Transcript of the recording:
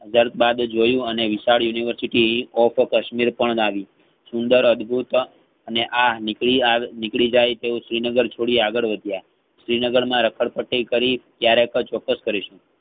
વગ બાજુ જોયું અને વિશાળ univariety of kashmirપણ નાબી સુંદર અદભુત અને આ નિકરી~નીકળીજાયતો શ્રીનગર છોડી આગળ વધ્યા શ્રીનગર રાખડી પટ્ટી કરી કાયરેકજ ચોક્સ કરીશહું.